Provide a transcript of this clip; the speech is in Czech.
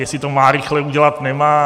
Jestli to má rychle udělat, nemá.